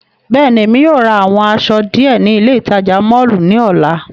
Bẹ́ẹ̀ni, Emi yóò ra awọn aṣọ diẹ ni ile itaja mọllu ni ọla.